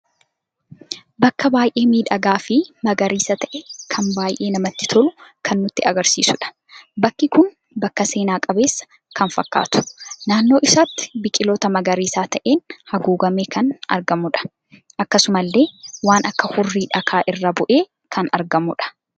Bakka baay'ee miidhagaa fi magariisa ta'e kan baay'ee namatti tolu kan nutti agarsiisuudha. bakki kun bakka seena qabeessa kan fakkatu, naannoo isaatti biqiltoota magariisa ta'en haguugame kan argamudha. Akksdumalle waan akka hurri dhakaa irra bu'ee kan argamudha.